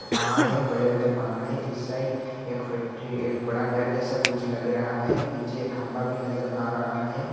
पहाड़ है बड़े बड़े पहाड़ है इस साइड एक फैक्ट्री एक बड़ा घर जैसा कुछ लग रहा है पीछे खंभा भी एक नजर आ रहा है।